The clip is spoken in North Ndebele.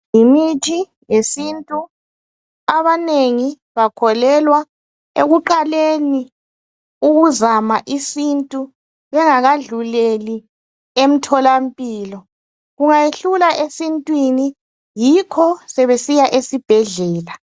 Yimithi yesintu abanengi bakholelwa ekuqaleni ukuzama isintu bengakadluleli emtholampilo, kungayehlula esintwini yikho sebesiya esibhedlela